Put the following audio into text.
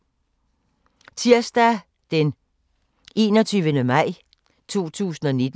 Tirsdag d. 21. maj 2019